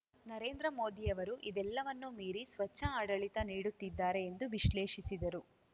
ನರೇಂದ್ರ ಮೋದಿಯವರು ಇದೆಲ್ಲವನ್ನೂ ಮೀರಿ ಸ್ವಚ್ಛ ಆಡಳಿತ ನೀಡುತ್ತಿದ್ದಾರೆ ಎಂದು ವಿಶ್ಲೇಷಿಸಿದರು